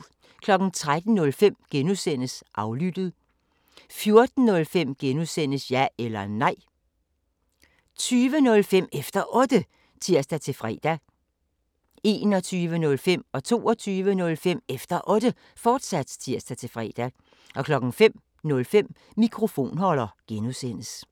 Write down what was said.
13:05: Aflyttet G) 14:05: Ja eller Nej (G) 20:05: Efter Otte (tir-fre) 21:05: Efter Otte, fortsat (tir-fre) 22:05: Efter Otte, fortsat (tir-fre) 05:05: Mikrofonholder (G)